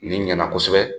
Nin ɲɛna kosɛbɛ